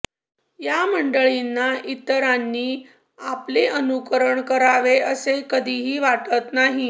या मंडळीना इतरांनी आपले अनुकरण करावे असे कधिही वाटत नाही